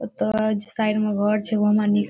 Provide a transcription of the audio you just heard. ओतय लागे छै साइड में घर छै उ हमरा नीक --